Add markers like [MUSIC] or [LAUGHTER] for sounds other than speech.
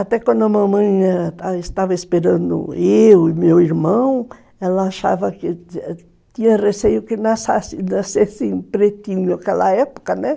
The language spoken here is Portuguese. Até quando a mamãe estava esperando eu e meu irmão, ela achava que... Tinha receio que [UNINTELLIGIBLE] nascesse pretinho, naquela época, né?